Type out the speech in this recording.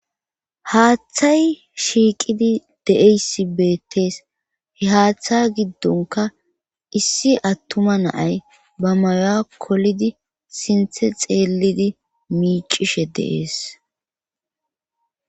Haaththay shiiqidi de'eyssi beettees he haaththa giddonka issi attuma naay ba mayoa kolidi sinthe xeelidi miicishe dees.